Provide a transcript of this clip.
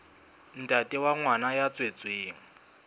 ntate wa ngwana ya tswetsweng